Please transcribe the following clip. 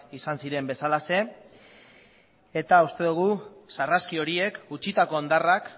izan ziren bezalaxe eta uste dugu sarraski horiek utzitako hondarrak